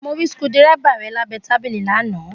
Mo rí skudẹ́rẹ́bà rẹ̀ lábẹ́ tábìlì lánàá